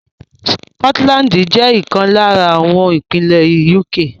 Scotland jẹ́ ìkan lára àwọn ìpínlè UK.